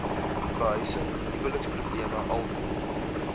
behuising huweliksprobleme alkohol